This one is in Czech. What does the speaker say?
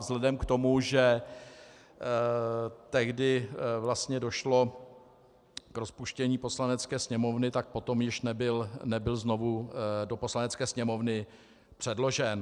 Vzhledem k tomu, že tehdy vlastně došlo k rozpuštění Poslanecké sněmovny, tak potom již nebyl znovu do Poslanecké sněmovny předložen.